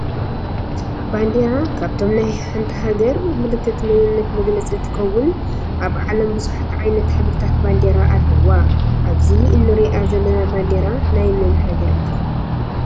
ባንዴራ ካበቶም ናይ ሓንቲ ሃገር ምልክት መንነት መግለፂ እንትከውን ኣብ ዓለም ብዙሓት ዓይነት ሕብሪታት ባንዴራ ኣለዋ ኣብዚ እንሪኣ ዘለና ባንዴራ ናይ መን ሃገር እያ?